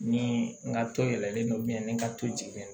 Ni n ka to yɛlɛlen don ni ka to jiginna